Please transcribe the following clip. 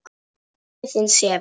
Pabbi þinn sefur.